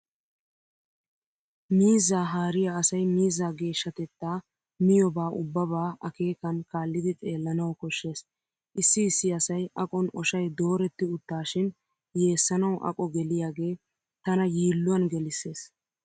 Miizzaa haariyaa asay miizza geeshshatettaa miyoobaa ubbabaa akeekan kaallidi xeellanawu koshshees. Issi issi asay aqon oshay dooretti uttaashin yeessanawu aqo geliyaagee tana yiilluwan gelisses.